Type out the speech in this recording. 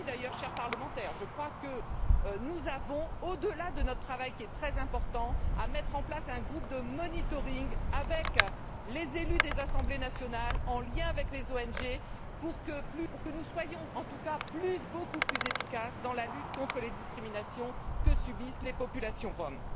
Nous aussi, d'ailleurs, chers parlementaires, je crois que nous avons, au delà de notre travail qui est très important, à mettre en place un groupe de monitoring avec les élus des assemblées nationales, en lien avec les ONG, pour que nous soyons en tout cas beaucoup plus efficaces dans la lutte contre les discriminations que subissent les populations roms.